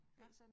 Ja